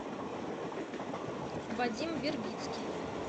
вадим вербицкий